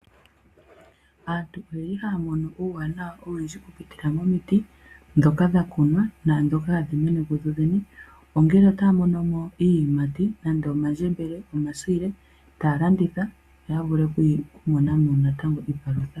Aantu oye li ha ya mono uuwanawa owundji oku pitila momiti dhoka dha kunwa naadhoka ha dhi mene ku dhodhene, ongele otaamono mo iiyimati nande omandjembele, nomasiile taa landitha ya vule okumona mo natango iipalutha.